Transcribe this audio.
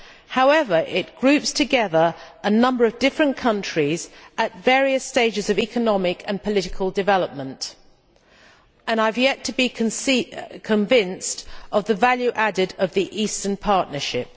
However, it groups together a number of different countries at various stages of economic and political development and I have yet to be convinced of the added value of the Eastern Partnership.